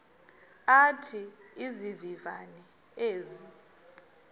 athi izivivane ezi